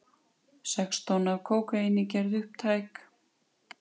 Sex tonn af kókaíni gerð upptæk